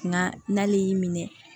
Nka n'ale y'i minɛ